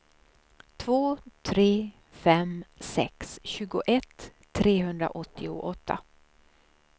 två tre fem sex tjugoett trehundraåttioåtta